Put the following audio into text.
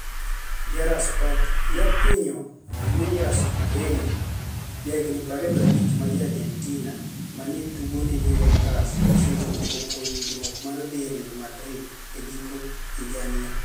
(Diaria sport)JakwiniyoJulius Owino, jahiginii 25 ma ja Argenitinia ma ni e tugo ni e Juvenitus, chiegnii chopo e winijruok mar dhi e Real Madrid e giko higanii.